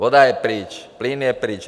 Voda je pryč, plyn je pryč.